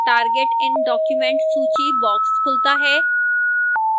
target in document सूची box खुलता है